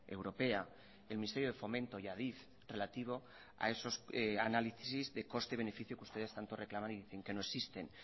europea el ministerio de fomento y adif relativo a esos análisis de coste beneficio que ustedes tanto reclaman y que dicen que no existen